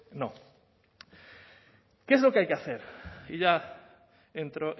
no qué es lo que hay que hacer y ya entro